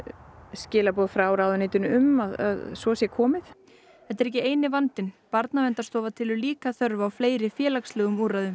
skilaboð frá ráðuneytinu um að svo sé komið þetta er ekki eini vandinn Barnaverndarstofa telur líka þörf á fleiri félagslegum úrræðum